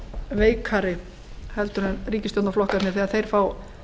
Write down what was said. veikari heldur en ríkisstjórnarflokkarnir þegar þeir fá